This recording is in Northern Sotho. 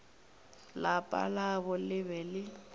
lapa labo le be le